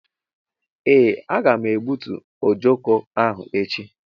Ee aga m egbútú ojoko ahụ echi..